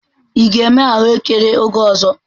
Ị ga-eme ahụekere oge ọzọ?